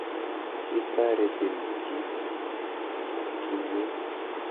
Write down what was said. Kitaretin kit kinye?